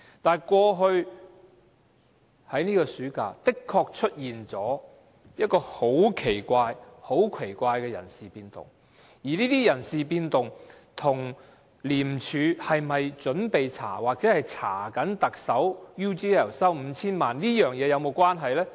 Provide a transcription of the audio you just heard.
但是，過去在這個暑假的確出現了很奇怪的人事變動，而這些人事變動跟廉署是否準備調查或正調查特首收取 UGL 5,000 萬元這事有否關係？